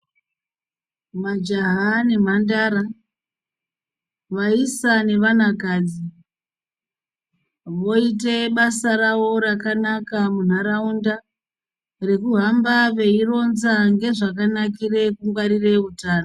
Majaha nemhandara, vayisa nevanakadzi, voite basa ravo rakanaka munharawunda rekuhamba veyironza ngezvakanakire kungwarire hutano.